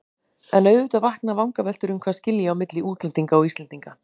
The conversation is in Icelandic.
En auðvitað vakna vangaveltur um hvað skilji á milli útlendinga og Íslendinga.